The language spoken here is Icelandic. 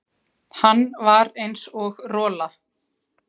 Hann var eins og rola.